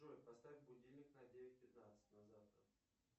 джой поставь будильник на девять пятнадцать на завтра